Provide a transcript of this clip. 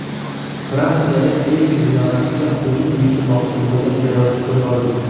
Fransiyada Eyfel minorasiga hujum uyushtirmoqchi bo‘lgan terrorchi qo‘lga olindi.